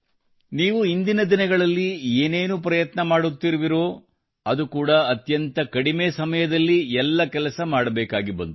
ನೀವು ಇಂದಿನ ದಿನಗಳಲ್ಲಿ ಏನೇನು ಪ್ರಯತ್ನ ಮಾಡುತ್ತಿರುವಿರೋ ಅದು ಕೂಡ ಅತ್ಯಂತ ಕಡಿಮೆ ಸಮಯದಲ್ಲಿ ಎಲ್ಲ ಕೆಲಸ ಮಾಡಬೇಕಾಗಿ ಬಂತು